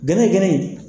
Gɛnɛgɛnɛ